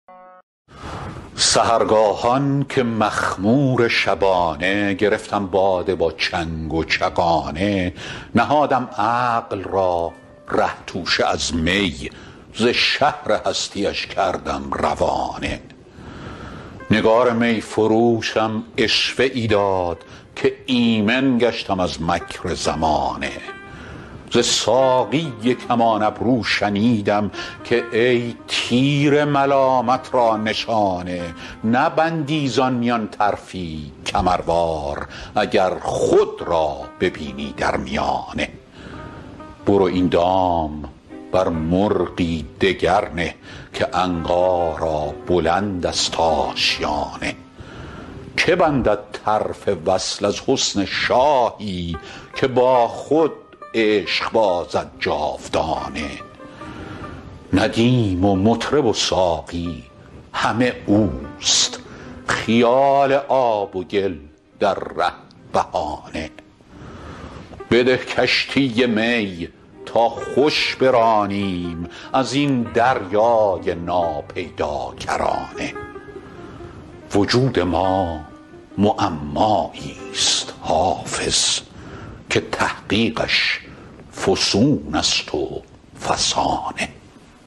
سحرگاهان که مخمور شبانه گرفتم باده با چنگ و چغانه نهادم عقل را ره توشه از می ز شهر هستی اش کردم روانه نگار می فروشم عشوه ای داد که ایمن گشتم از مکر زمانه ز ساقی کمان ابرو شنیدم که ای تیر ملامت را نشانه نبندی زان میان طرفی کمروار اگر خود را ببینی در میانه برو این دام بر مرغی دگر نه که عنقا را بلند است آشیانه که بندد طرف وصل از حسن شاهی که با خود عشق بازد جاودانه ندیم و مطرب و ساقی همه اوست خیال آب و گل در ره بهانه بده کشتی می تا خوش برانیم از این دریای ناپیداکرانه وجود ما معمایی ست حافظ که تحقیقش فسون است و فسانه